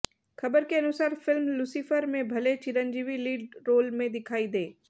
खबर के अनुसार फिल्म लुसिफर में भले चिरंजीवी लीड रोल में दिखाई दें